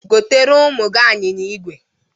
Goteere ụmụ gị anyịnya igwe!